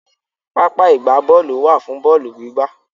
Pápá ìgbábọ́ọ̀lù wà fún bọ́ọ̀lù gbígbá.